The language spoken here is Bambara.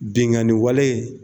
Benganni walee